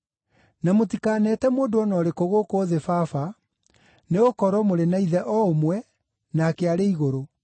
Na mũtikaneete mũndũ o na ũrĩkũ gũkũ thĩ ‘baba’, nĩgũkorwo mũrĩ na Ithe o ũmwe, nake arĩ igũrũ.